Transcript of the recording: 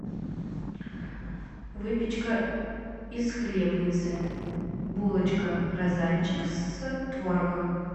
выпечка из хлебницы булочка розанчик с творогом